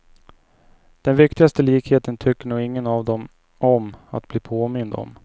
Den viktigaste likheten tycker nog ingen av dem om att bli påmind om.